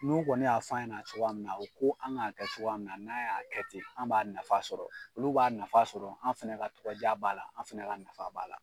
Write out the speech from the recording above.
N'u kɔni y'a fɔ an ɲɛna cogoya min na, a u ko an k'a kɛ cogoya min na, n'an y'a kɛ ten, an b'a nafa sɔrɔ ,olu b'a nafa sɔrɔ ,an fana ka tɔgɔ diya b'a la, an fana ka nafa b'a la.